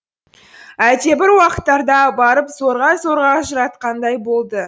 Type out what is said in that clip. әлдебір уақыттарда барып зорға зорға ажыратқандай болды